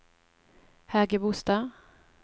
Hægebostad